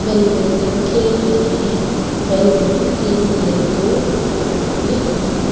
बैली badminton खेल रहा है बैडमिंटन के लिये दो क्राउड बने हुए है।